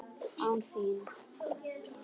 Án þín!